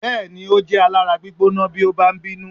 Bẹ́ẹ̀ni, ó jẹ́ alára gbígbóná bí ó bá ń bínú.